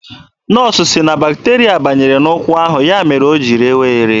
Nọọsụ sị na bakterịa banyere n'ụkwụ ahụ, ya mere o ji rewa ere.